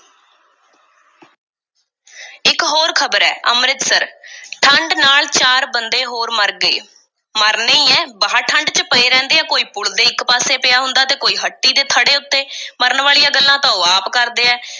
ਇੱਕ ਹੋਰ ਖ਼ਬਰ ਐ, ਅੰਮ੍ਰਿਤਸਰ, ਠੰਢ ਨਾਲ ਚਾਰ ਬੰਦੇ ਹੋਰ ਮਰ ਗਏ, ਮਰਨੇ ਈ ਐ, ਬਾਹਰ ਠੰਢ ਚ ਪਏ ਰਹਿੰਦੇ ਐ, ਕੋਈ ਪੁਲ ਦੇ ਇੱਕ ਪਾਸੇ ਪਿਆ ਹੁੰਦਾ ਤੇ ਕੋਈ ਹੱਟੀ ਦੇ ਥੜ੍ਹੇ ਉੱਤੇ। ਮਰਨ ਵਾਲੀਆਂ ਗੱਲਾਂ ਤਾਂ ਉਹ ਆਪ ਕਰਦੇ ਐ,